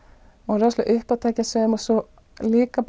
var rosa uppátækjasöm og stóð líka